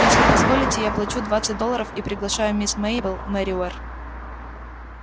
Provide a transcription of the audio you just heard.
если позволите я плачу двадцать долларов и приглашаю мисс мейбелл мерриуэзер